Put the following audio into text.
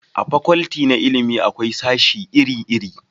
a fakwalti na ilimi akwai sashi iri iri